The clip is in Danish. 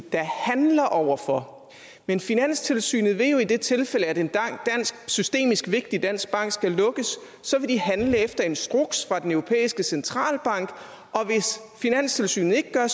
der handler over for men finanstilsynet vil jo i det tilfælde at en systemisk vigtig dansk bank skal lukkes handle efter instruks fra den europæiske centralbank og hvis finanstilsynet ikke gør